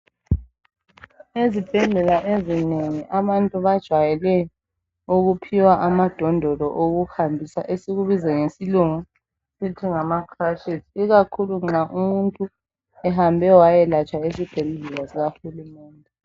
Ezibhedlela ezinengi abantu bajwayele ukuphiwa amadondolo okuhambisa esikubiza ngokuthi ngesilungu sithi ngama crutches ikakhulu nxa umuntu ehambe wayelatshwa esibhedlela sikaHulumende.